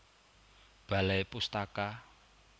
Balai Pustaka